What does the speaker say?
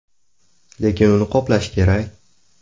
Lekin uni qoplash kerak.